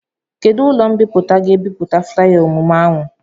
Kedụ ụlọ mbipụta ga-ebipụta flaya emume ahụ?